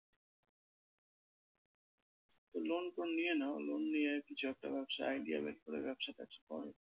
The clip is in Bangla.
তো loan ফোন নিয়ে নাও, loan নিয়ে কিছু একটা ব্যবসার idea বের করে ব্যবসা ট্যাবসা কর।